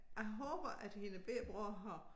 Jeg håber at hendes bette bror har